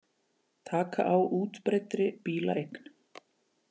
Taka á útbreiddri bílaeign